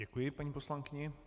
Děkuji paní poslankyni.